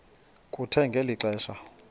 kuthe ngeli xesha